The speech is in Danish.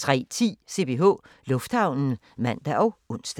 03:10: CPH Lufthavnen (man og ons)